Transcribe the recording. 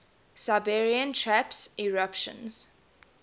siberian traps eruptions